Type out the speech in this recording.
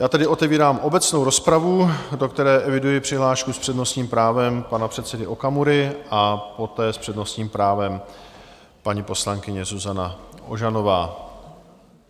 Já tedy otevírám obecnou rozpravu, do které eviduji přihlášku s přednostním právem pana předsedy Okamury a poté s přednostním právem paní poslankyně Zuzana Ožanová.